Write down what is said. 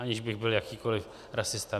Aniž bych byl jakýkoli rasista.